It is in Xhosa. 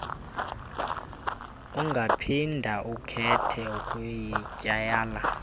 ungaphinda ukhethe ukuyityala